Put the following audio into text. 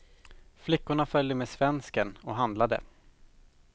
Flickorna följde med svensken och handlade.